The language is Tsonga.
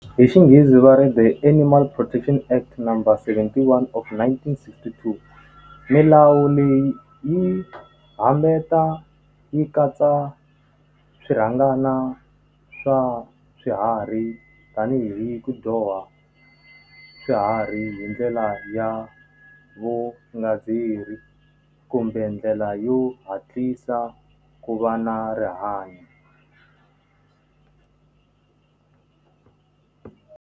Hi xinghezi va ri the animal protection act number seventy-one of nineteen sixty-two. Milawu leyi yi yi katsa swirhangana swa swiharhi tanihi ku dyoha swiharhi hi ndlela ya vu kumbe ndlela yo hatlisa ku va na rihanyo.